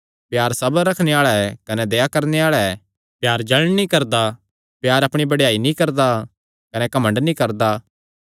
प्यार सबर रखणे आल़ा ऐ कने दया करणे आल़ा ऐ प्यार जल़ण नीं करदा प्यार अपणी बड़ेयाई नीं करदा कने घमंड नीं करदा